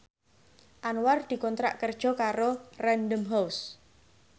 Anwar dikontrak kerja karo Random House